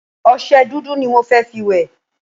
Ọṣẹ dúdú ni mo fẹ́ fi wẹ̀.